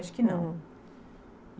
Acho que não. Uhum